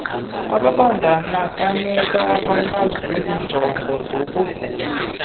ababandakanyekayo abanazinjongo zakuvula